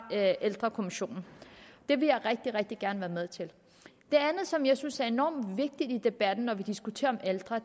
ældrekommissionen det vil jeg rigtig rigtig gerne være med til det andet som jeg synes er enormt vigtigt i debatten når vi diskuterer ældre